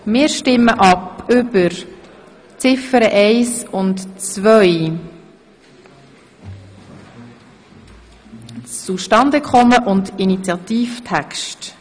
Wir stimmen zunächst ab über die Ziffern 1 und 2, das Zustandekommen und den Initiativtext.